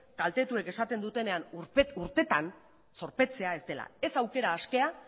kaltetuek esaten dutenean urtetan zorpetzea ez dela ez aukera askea